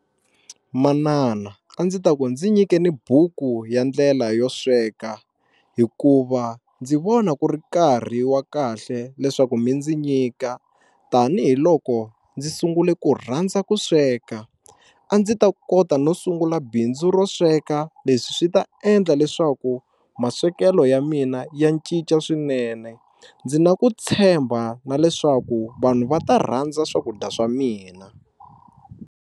Manana a ndzi ta ku ndzi nyikeni buku ya ndlela yo sweka hikuva ndzi vona ku ri nkarhi wa kahle leswaku mi ndzi nyika tanihiloko ndzi sungule ku rhandza ku sweka a ndzi ta kota no sungula bindzu ro sweka leswi swi ta endla leswaku maswekelo ya mina ya cinca swinene ndzi na ku tshemba na leswaku vanhu va ta rhandza swakudya swa mina.